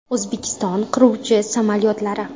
O‘zbekiston qiruvchi samolyotlari.